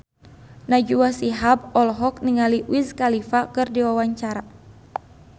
Najwa Shihab olohok ningali Wiz Khalifa keur diwawancara